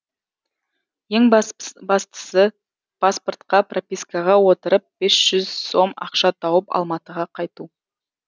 ең бастысы паспортқа пропискаға отырып бес жүз сом ақша тауып алматыға қайту